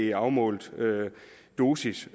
en afmålt dosis